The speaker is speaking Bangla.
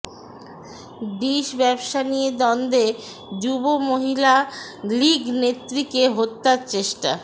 ডিশ ব্যবসা নিয়ে দ্বন্দ্বে যুব মহিলা লীগ নেত্রীকে হত্যার চেষ্টা